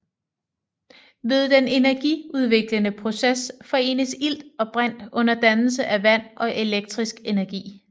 Ved den energiudviklende proces forenes ilt og brint under dannelse af vand og elektrisk energi